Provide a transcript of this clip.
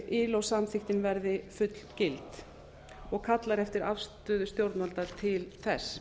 ilo samþykktin verði fullgild og kallar eftir afstöðu stjórnvalda til þess